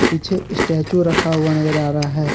पीछे स्टैचू रखा हुआ नजर आ रहा है।